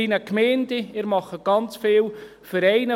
Sie verärgern ganz viele Vereine.